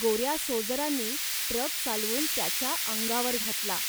गोऱ्या सोजरांनी ट्रक चालवून त्याच्या अंगावर घातला